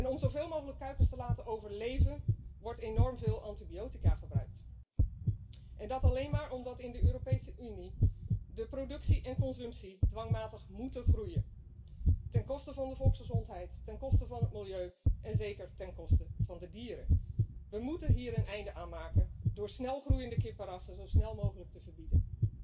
Om zoveel mogelijk kuikens te laten overleven wordt enorm veel antibiotica gebruikt en dat alleen maar omdat in de Europese Unie de productie en consumptie dwangmatig moeten groeien, ten koste van de volksgezondheid, ten koste van het milieu en zeker ten koste van de dieren. We moeten hier een einde aan maken door snelgroeiende kippenrassen zo snel mogelijk te verbieden.